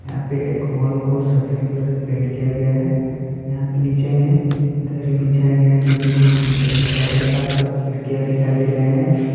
यहां पे एक हाल को सफेद कलर से पेंट किया गया है। यहां पर नीचे में दरी बिछाया गया जोकि बहुत चिकन दिखाई दे रहा है। आसपास खिड़कियां दिखाई दे रहे हैं।